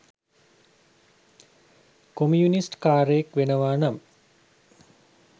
communist කාරයෙක් වෙනවා නම්